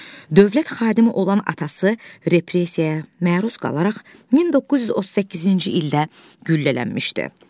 Dövlət xadimi olan atası repressiyaya məruz qalaraq 1938-ci ildə güllələnmişdi.